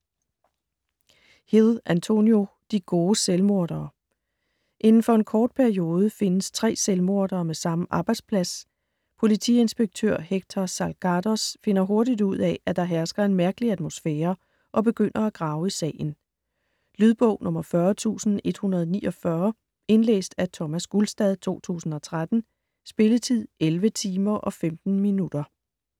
Hill, Antonio: De gode selvmordere Inden for en kort periode findes tre selvmordere med samme arbejdsplads. Politiinspektør Héctor Salgados finder hurtigt ud at, at der hersker en mærkelig atmosfære og begynder at grave i sagen. Lydbog 40149 Indlæst af Thomas Gulstad, 2013. Spilletid: 11 timer, 15 minutter.